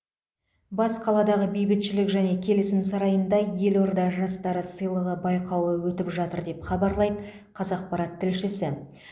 бас қаладағы бейбітшілік және келісім сарайында елорда жастары сыйлығы байқауы өтіп жатыр деп хабарлайды қазақпарат тілшісі